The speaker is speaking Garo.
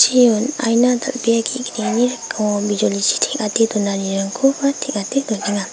jeon aina dal·bea ge·gnini rikingo bijolichi teng·ate donanirangkoba teng·ate donenga.